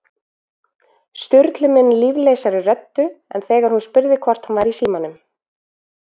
Sturlu mun líflausari röddu en þegar hún spurði hvort hann væri í símanum